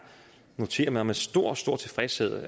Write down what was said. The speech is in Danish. noterer mig med stor stor tilfredshed